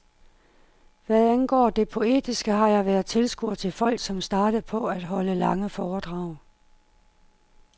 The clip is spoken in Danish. Hvad angår det poetiske har jeg været tilskuer til folk, som startede på at holde lange foredrag.